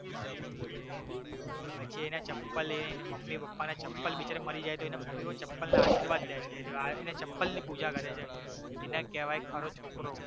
પછી એના ચપ્પલ લેય ને મમ્મી પપ્પાના ચપ્પલ બિચારા મરી જાય તો એના મમ્મી પપ્પાના જાય છે એ રહ્યો આવીને ચપ્પલની પુજા કરે છે એને કેવાય ખરો છોકરો